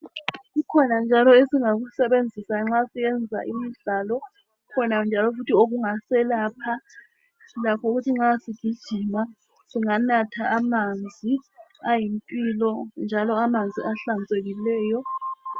Kukhona njalo esingakusebenzisa nxa siyenza imidlalo. Kukhona njalo futhi okungaselapha lakho okuthi nxa sigijima. singanatha amanzi ayimpilo njalo amanzi ahlanzekileyo .